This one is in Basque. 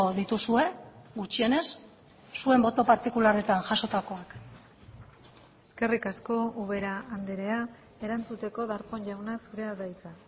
dituzue gutxienez zuen boto partikularretan jasotakoak eskerrik asko ubera andrea erantzuteko darpón jauna zurea da hitza